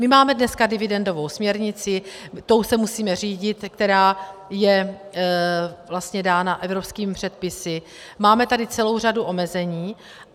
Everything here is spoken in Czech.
My máme dneska dividendovou směrnici, tou se musíme řídit, která je vlastně dána evropskými předpisy, máme tady celou řadu omezení.